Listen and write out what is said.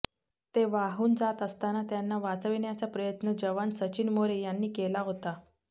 ते वाहून जात असताना त्यांना वाचविण्याच्या प्रयत्न जवान सचिन मोरे यांनी केला होता